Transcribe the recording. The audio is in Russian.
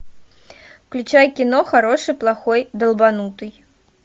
включай кино хороший плохой долбанутый